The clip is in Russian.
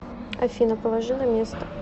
афина положи на место